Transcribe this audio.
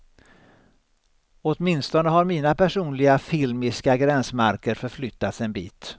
Åtminstone har mina personliga filmiska gränsmarker förflyttats en bit.